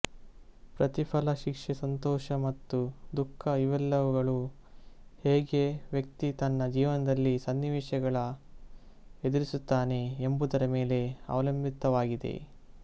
ಪ್ರತಿಫಲಶಿಕ್ಷೆಸಂತೋಷ ಮತ್ತು ದುಃಖ ಇವೆಲ್ಲವುಗಳು ಹೇಗೆ ವ್ಯಕ್ತಿ ತನ್ನ ಜೀವನದಲ್ಲಿ ಸನ್ನಿವೇಶಗಳ ಎದುರಿಸುತ್ತಾನೆ ಎಂಬುದರ ಮೇಲೆ ಅವಲಂಬಿತವಾಗಿದೆ